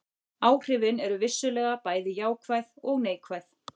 Áhrifin eru vissulega bæði jákvæð og neikvæð.